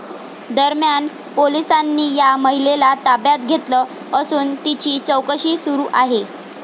दरम्यान, पोलिसांनी या महिलेला ताब्यात घेतलं असून तिची चौकशी सुरू आहे.